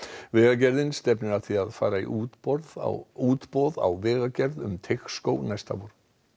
vegagerðin stefnir að því að fara í útboð á útboð á vegagerð um Teigsskóg næsta vor